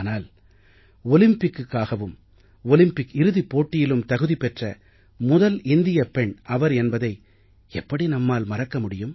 ஆனால் ஒலிம்பிக்குக்காகவும் ஒலிம்பிக் இறுதிப் போட்டியிலும் தகுதி பெற்ற முதல் இந்தியப் பெண் அவர் என்பதை எப்படி நாம் மறக்க முடியும்